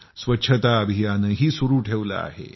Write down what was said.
स्वच्छता अभियानही सुरू ठेवलं आहे